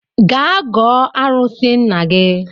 Gaa gọọ arụsị nna gi